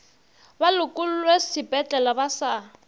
ba lokollwe sepetlele ba sa